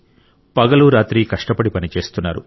పగలు రాత్రి కష్టపడి పనిచేస్తున్నారు